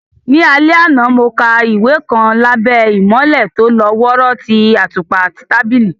Ní alẹ́ àná, mo ka ìwé kan lábẹ́ ìmọ́lẹ̀ tó lọ́ wọ́ọ́rọ́ ti àtùpà tábìlì.